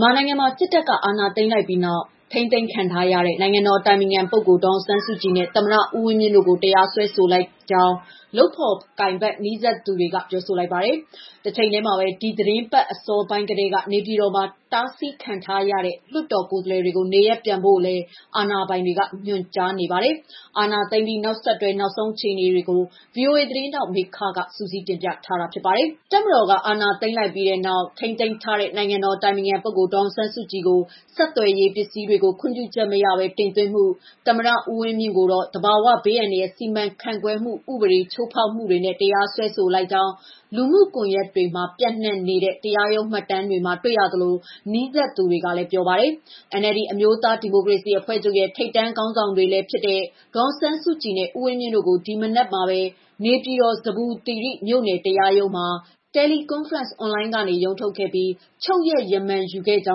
မာနိုင်ငံမှာ စစ်တပ်က အာဏာသိမ်းလိုက်ပြီးနောက် ထိန်းသိမ်းခံထားရတဲ့ နိုင်ငံတော်အတိုင်ပင်ခံပုဂ္ဂိုလ် ဒေါ်အောင်ဆန်းစုကြည်နဲ့ သမ္မတ ဦးဝင်းမြင့်တို့ကို တရားစွဲဆိုလိုက်ကြောင်း လုပ်ဖော်ကိုင်ဖက်နီးစပ်သူတွေက ပြောလိုက်ပါတယ်။ တချိန်တည်းမှာပဲ ဒီသီတင်းပတ် အစောပိုင်းကတည်းက နေပြည်တော်မှာ တားဆီးခံထားရတဲ့ လွှတ်တော်ကိုယ်စားလှယ်တွေကို နေရပ်ပြန်ဖို့လည်း အာဏာပိုင်တွေ ညွှန်ကြားနေပါတယ်။ အာဏာသိမ်းပြီး နောက်ဆက်တွဲ နောက်ဆုံးအခြေအနေတွေကိုတော့ ဗွီအိုအေသတင်းထောက် မမေခက စုစည်းတင်ပြပေးပါမယ်။ တပ်မတော်က အာဏာသိမ်းလိုက်ပြီးနောက် ထိန်းသိမ်းထားတဲ့ နိုင်ငံတော်အတိုင်ပင်ခံပုဂ္ဂိုလ် ဒေါ်အောင်ဆန်းစုကြည်ကို ဆက်သွယ်ရေး ပစ္စည်းတွေကို ခွင့်ပြုချက်မရဘဲ တင်သွင်းမှု၊ သမ္မတဦးဝင်းမြင့်ကိုတော့ သဘာဝဘေးအန္တရာယ် စီမံခန့်ခွဲမှု ဥပဒေ ချိုးဖောက်မှုတွေနဲ့ တရားစွဲဆိုလိုက်ကြောင်း လူမှုကွန်ရက်တွေမှာ ပျံ့နှံ့နေတဲ့ တရားရုံးမှတ်တမ်းတွေမှာ တွေ့ရသလို နီးစပ်သူတွေကလည်း ပြောပါတယ်။ NLD အမျိုးသားဒီမိုကရေစီအဖွဲ့ချုပ်ရဲ့ ထိပ်တန်းခေါင်းဆောင်တွေလည်းဖြစ်တဲ့ ဒေါ်အောင်ဆန်းစုကြည်နဲ့ ဦးဝင်းမြင့်တို့ကို ဒီမနက်မှာပဲ နေပြည်တော် ဇဗ္ဗူသီရိ မြို့နယ်တရားရုံးမှာ teleconference အွန်လိုင်းကနေ ရုံးထုတ်ခဲ့ပြီး ချုပ်ရမာန်ယူခဲ့ကြော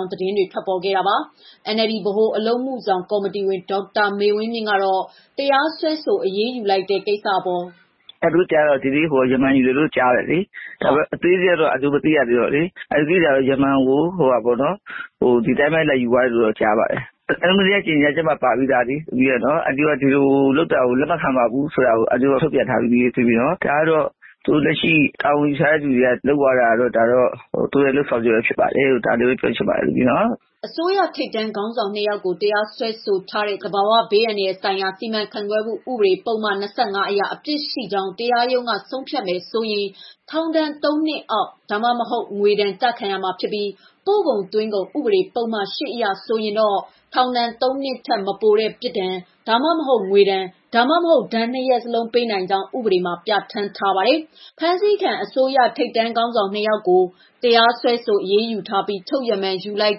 င်းလည်း သတင်းတွေ ထွက်ပေါ်ခဲ့တာပါ။ NLD ဗဟိုအလုပ်အမှုဆောင်ကော်မတီဝင် ဒေါ်မေဝင်းမြင့်ကတော့ တရားစွဲဆို အရေးယူလိုက်တဲ့ ကိစ္စအပေါ်.... "အန်တီတို့ ကြားတာကတော့ ဒီနေ့ရမာန်ယူတယ်ကြားတယ်လေ။ အသေးစိတ်ကတော့ အန်တီတို့မသိရသေးတော့လေ။ အန်တီသိတာတော့ ရမာန်ကို ဒီတိုင်းလာယူတယ်ကြားပါတယ်။ NLD ရဲ့ကြေငြာချက်မှာပါပြီးသားလေ။ ဒီလိုလုပ်တာကို လက်မခံပါဘူးလို့ တရားဝင်ထုတ်ပြန်ထားပြီးပါပြီ။ ဒါကတော့ လက်ရှိတာဝန်ယူထားသူတွေက လုပ်သွားတာကတော့ သူတို့လုပ်ဆောင်ချက်ပဲ ဖြစ်တယ်လိုပဲ ပြောချင်ပါတယ်။" အစိုးရထိပ်တန်းခေါင်းဆောင် နှစ် ယောက်ကို တရားစွဲဆိုထားတဲ့ သဘာဝ ဘေးအန္တရာယ်ဆိုင်ရာ စီမံခန့်ခွဲမှု ဥပဒေပုဒ်မ ၂၅ အရ အပြစ်ရှိကြောင်း တရားရုံးက ဆုံးဖြတ်မယ်ဆိုရင်တော့ ထောင်ဒဏ် ၃ နှစ်အောက် ဒါမှမဟုတ် ငွေဒဏ် ကျခံရမှာဖြစ်ပြီး ပို့ကုန်သွင်းကုန် ဥပဒေပုဒ်မ ၈ မှာတော့ ထောင်ဒဏ် ၃ နှစ် ထက်မပိုတဲ့ ပြစ်ဒဏ် ဒါမှမဟုတ် ငွေဒဏ် ဒါမှမဟုတ် ဒဏ် နှစ် ရပ်စလုံးပေးနိုင်ကြောင်း ပြဌာန်းထားပါတယ်။ ဖမ်းဆီးခံ အစိုးရထိပ်တန်းခေါင်းဆောင် နှစ် ၂ ယောက်ကို တရားစွဲဆိုအရေးယူထားပြီး ချုပ်ရမာန်ယူလိုက်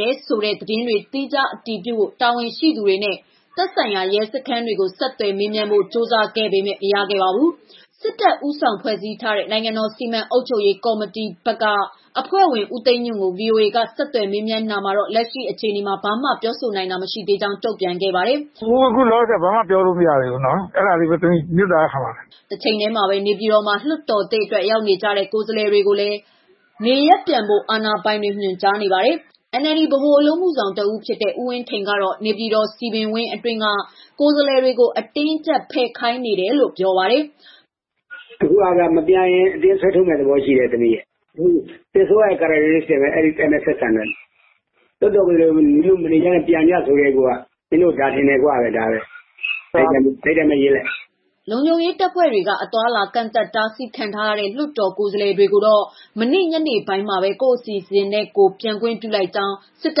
တယ်ဆိုတဲ့ သတင်းတွေကို သီးခြား အတည်ပြုဖို့ တာဝန်ရှိသူတွေနဲ့ သက်ဆိုင်ရာ ရဲစခန်းကို ဆက်သွယ်မေးမြန်းဖို့ ကြိုးစားပေမဲ့ မရသေးပါဘူး။ စစ်တပ် ဦးဆောင်ဖွဲ့ထားတဲ့ နိုင်ငံတော် စီမံအုပ်ချုပ်ရေးကောင်စီဘက်မှ အဖွဲ့ဝင် ဦးသိန်းညွှန့်ကို ဗွီအိုအေ က ဆက်သွယ် မေးမြန်းတာမှာတော့ လက်ရှိအခြေအနေမှာ ဘာမှပြောဆိုနိုင်တာ မရှိသေးကြောင်းတုံ့ပြန်ခဲ့ပါတယ်။ "အခုလောလောဆယ် ဘာမှပြောလို့ မရသေးဘူးနော်။ အဲဒါလေး မေတ္တာရပ်ခံပါတယ်။" တချိန်တည်းမှာပဲ နေပြည်တော်မှာ လွှတ်တော်သစ်အတွက် ရောက်နေကြတဲ့ ကိုယ်စားလှယ်တွေကိုလည်း နေရပ်ပြန်ဖို့ အာဏာပိုင်တွေ ညွှန်ကြားနေပါတယ်။ NLD ဗဟိုအလုပ်အမှုဆောင် တဦးဖြစ်တဲ့ ဦးဝင်းထိန်ကေတာ့ နေပြည်တော်စည်ပင်ဝင်းအတွင်းက ကိုယ်စားလှယ်တွေကို အတင်းအကြပ် ဖယ်ခိုင်းနေတယ်လို့ ပြောပါတယ်။ "အခုက မပြန်ရင် အတင်းဆွဲထုတ်မယ့် သဘောရှိတယ်။ စစ်အစိုးရအတိုင်း အဲဒီအတိုင်းပဲ ဆက်ဆံတယ်။ လွှတ်တော်ကိုယ်စားလှယ်တွေကို မင်းတို့ မနေကြနဲ့ ပြန်ကြဆိုကတည်းကမင်းတို့ကို ဒါထင်တယ်လို့ပြောတာပဲ... ဒါပဲ။ အဲဒီတိုင်းရေးလိုက်ပါ။" လုံခြုံရေးတပ်ဖွဲ့တွေက အသွားအလာ ကန့်သတ်တားဆီးခံထားရတဲ့ လွှတ်တော်ကိုယ်စားလှယ်တွေကိုတော့ မနေ့က ညနေပိုင်းမှာပဲ ကိုယ့်အစီအစဉ်နဲ့ကို ပြန်ခွင့်ပြုလိုက်ကြောင်း စစ်တ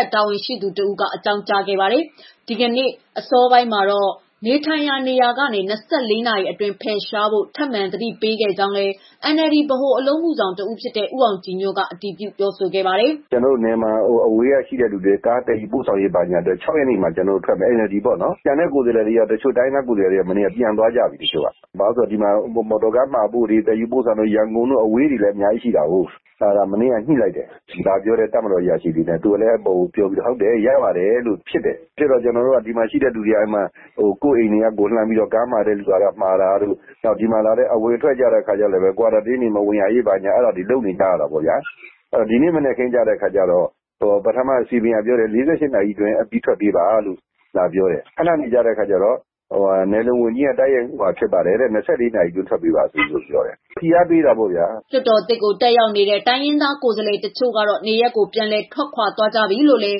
ပ်တာဝန်ရှိသူတဦးက အကြောင်းကြားခဲ့ပါတယ်။ ဒီနေ့ အစောပိုင်းမှာတော့ နေထိုင်ရာနေရာကနေ ၂၄ နာရီအတွင်းဖယ်ရှားဖို့ ထပ်မံ သတိပေးခဲ့ကြောင်းလည်း NLD ဗဟို အလုပ်အမှုဆောင် တဦးဖြစ်တဲ့ ဦးအောင်ကြည်ညွှန့်က အတည်ပြုပြောဆိုပါတယ်။ "မနေ့က အစိုးရဘက်က ပြန်လို့ရတယ်လာပြောတယ်။ နယ်မှာ ရှိတဲ့ ကားသယ်ယူပို့ဆောင်တာရှိလို့ ၆ ရက်နေ့မှာ ထွက်မယ်... NLD ပေါ့နော်။ ကျန်တဲ့ ကိုယ်စားလှယ်တွေ၊ တချို့တိုင်းရင်းသားကိုယ်စားလှယ်တွေကတော့ ပြန်သွားကြပြီ။ ဘာလို့လဲဆို မော်တော် ကားမှာဖို့တွေ၊ သယ်ယူပို့ဆောင်ရေး နယ်အဝေးတွေလည်း ရှိတာကိုး။ မနေ့က ညှိလိုက်တယ်... တပ်မတော်အရာရှိတွေနဲ့ သူကလည်း အပေါ်ကိုပြောပြီးတော့.... ရပါတယ်လို့ ကျနော်တို့က ဖြစ်တယ်။ ဒီကရှိတဲ့လူတွေက ကိုယ်အိမ်တွေကနေ လှမ်းပြီးတော့ ကားမှာတာတို့၊ ဒီမှာလာတဲ့ အဝင်ထွက်ကြတော့လည်း Quarantine တွေ မဝင်ရရေး အဲဒါတွေလုပ်နေကြရတာကိုး။ ဒီနေ့မနက်ခင်ကျတော့ ပထမစည်ပင်ကပြောတယ်။ ၄၈ နာရီအတွင်း ဖယ်ဖို့ပြောတယ်။ ခဏနေကျတော့ နယ်လုံဝန်ကြီးဘက်ကနေ ၂၄ နာရီအတွင်းဖယ်ဖို့ပြောတယ်။ ဖိအားပေးတာပေါ့ဗျာ။" လွှတ်တော်သစ်ကို တက်ရောက်ဖို့ ရောက်နေတဲ့ တိုင်းရင်းသားကိုယ်စားလှယ်တချို့ကတော့ နေရပ်ကိုပြန်လည်ထွက်ခွာလာနေကြပြီလို့လည်း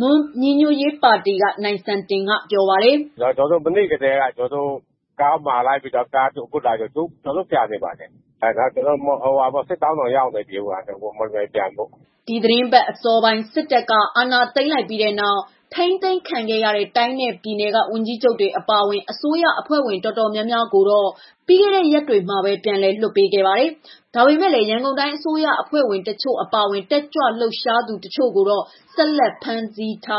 မွန်ညီညွှတ်ရေးပါတီက နိုင်စံတင်က ပြောပါတယ်။ "မနေ့ထဲကတည်းက ကားမှာလိုက်ပြီး ကျနော်တို့ ခုပြန်နေပါတယ်။ ခုစစ်တောင်းတောင်ရောက်နေပါပြီ။ မော်လမြိုင်ပြန်ဖို့။" ဒီသီတင်းပတ် အစောပိုင်း စစ်တပ်က အာဏာသိမ်းလိုက်ပြီးနောက် ထိန်းသိမ်းခံခဲ့ရတဲ့ တိုင်းနဲ့ပြည်နယ်က ဝန်ကြီးချုပ်တွေ အပါအဝင် အစိုးရအဖွဲ့ဝင် တော်တော်များများကိုတော့ ပြီးခဲ့တဲ့ရက်တွေမှာပဲ ပြန်လွှတ်ပေးခဲ့ပါတယ်။ ဒါပေမဲ့လည်း ရန်ကုန်တိုင်း အစိုးရအဖွဲ့ဝင် တချို့အပါအဝင် တက်ကြွလှုပ်ရှားသူ တချို့ကိုတော့ ဆက်လက်ဖမ်းဆီးထား